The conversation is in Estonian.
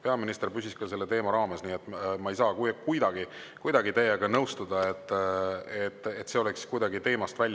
Peaminister püsis ka selle teema raames, nii et ma ei saa kuidagi teiega nõustuda, et ta läks teemast välja.